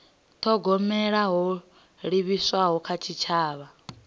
thogomela ho livhiswaho kha tshitshavha